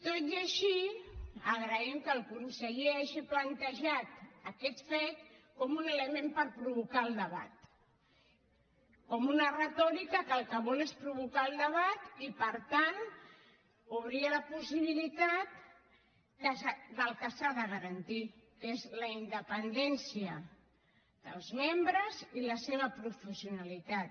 tot i així agraïm que el conseller hagi plantejat aquest fet com un element per provocar el debat com una retòrica que el que vol és provocar el debat i per tant obrir la possibilitat del que s’ha de garantir que és la independència dels membres i la seva professionalitat